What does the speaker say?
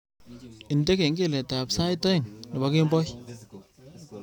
Indene kengeletab sait aeng nebo kemboi